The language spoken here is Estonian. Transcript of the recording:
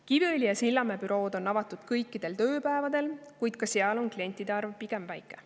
Kiviõli ja Sillamäe bürood on avatud kõikidel tööpäevadel, kuid ka seal on klientide arv pigem väike.